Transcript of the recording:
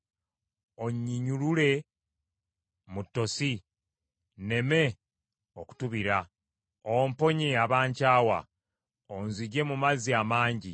Onnyinyulule mu ttosi nneme okutubira; omponye abankyawa, onzigye mu mazzi amangi;